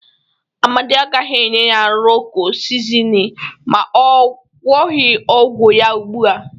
Amadị agaghị enye ya Rọko sizini ma ọ gwọghị ọgwọ ya ugbụ a.